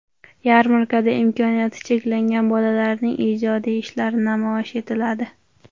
Yarmarkada imkoniyati cheklangan bolalarning ijodiy ishlari namoyish etiladi.